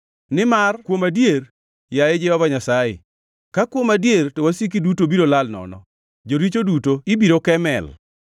Nimar ka kuom adier, yaye Jehova Nyasaye, ka kuom adier to wasiki duto biro lal nono; joricho duto ibiro ke mel.